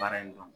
Baara in dɔn